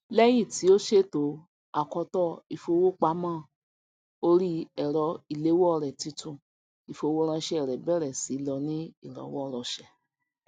lẹyìn tí ó ṣètò akoto ìfowópamọ orí ẹrọ ìléwọ rẹ titun ìfowóránṣẹ rẹ bẹrẹ sí lọ ní ìrọwọrọsẹ